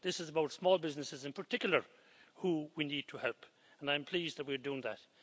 This is about small businesses, in particular, that we need to help and I am pleased we are doing that.